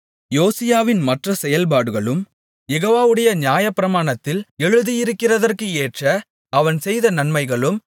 யோசியாவின் மற்ற செயல்பாடுகளும் யெகோவாவுடைய நியாயப்பிரமாணத்தில் எழுதியிருக்கிறதற்கு ஏற்ற அவன் செய்த நன்மைகளும்